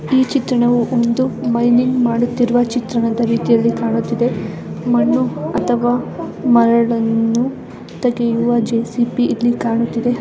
ಈ ಚಿತ್ರಣವು ಒಂದು ಮೈನಿಂಗ್ ಮಾಡುತ್ತಿರುವ ಚಿತ್ರಣದ ರೀತಿಯಲ್ಲಿ ಕಾಣುತ್ತಿದೆ ಮಣ್ಣು ಅಥವಾ ಮರಳನ್ನು ತೆಗೆಯುವ ಜೆಸಿಪಿ ಇಲ್ಲಿ ಕಾಣುತ್ತದೆ .